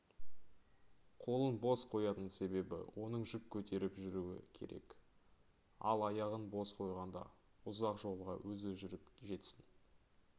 қолын бос қоятын себебі оның жүк көтеріп жүруі керек ал аяғын бос қойғанда ұзақ жолға өзі жүріп жетсін